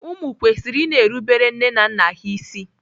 Ụmụ kwesịrị i na-erubere nne na nna ha isi.